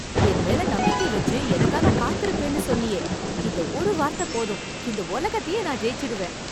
என் மேல நம்பிக்கை வெச்சு எனக்காக காத்துருப்பேன்னு சொன்னியே... இந்த ஒரு வார்த்த போதும், இந்த ஒலகத்தையே நான் ஜெயிச்சுடுவேன்.